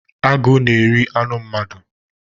Agụ na-eri anụ mmadụ.